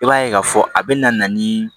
I b'a ye k'a fɔ a bɛ na ni